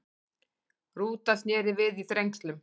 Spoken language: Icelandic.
Rúta snéri við í Þrengslum